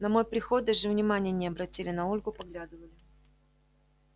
на мой приход даже внимания не обратили на ольгу поглядывали